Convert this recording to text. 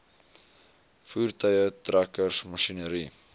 voertuie trekkers masjinerie